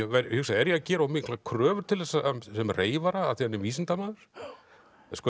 hugsa er ég að gera of miklar kröfur til þessa sem reyfara af því hann er vísindamaður sko